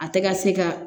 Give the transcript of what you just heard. A tɛ ka se ka